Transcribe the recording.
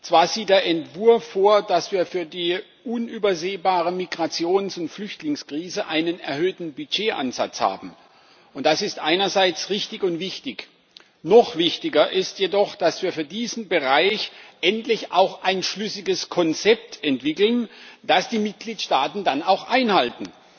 Zwar sieht der Entwurf vor, dass wir für die unübersehbare Migrations und Flüchtlingskrise einen erhöhten Budgetansatz haben und das ist einerseits richtig und wichtig. Noch wichtiger ist jedoch, dass wir für diesen Bereich endlich auch ein schlüssiges Konzept entwickeln, das die Mitgliedstaaten dann auch einhalten.